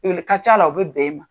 ka ca la u bɛ bɛn e ma.